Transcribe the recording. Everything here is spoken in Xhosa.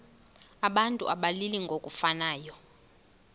abantu abalili ngokufanayo